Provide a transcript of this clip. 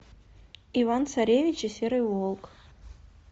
иван царевич и серый волк